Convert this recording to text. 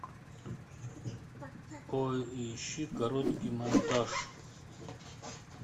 поищи короткий монтаж